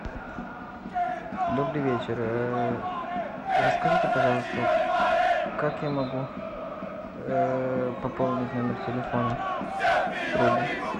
добрый вечер расскажите пожалуйста как я могу пополнить номер телефона другу